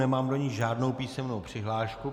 Nemám do ní žádnou písemnou přihlášku.